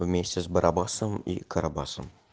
вместе с барбосом и карабаса